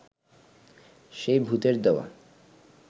সেই ভূতের দেওয়া